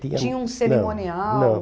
Tinha um cerimonial? tinha... não, não.